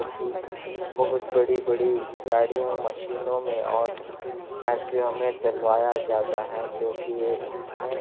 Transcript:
-- की बहुत बड़ी बड़ी गाड़ियाँ मशीनों में और फैक्टरियों में डलवाया जाता है जो की ये इसमें--